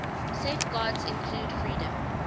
safeguards include freedom